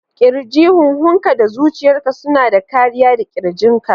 Kirji: Huhunka da zuciyarka suna da kariya da ƙirjinka